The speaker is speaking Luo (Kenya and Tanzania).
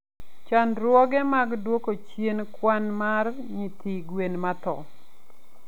Chandruoge mag duoko chien kwan mar nyithi gwen matho.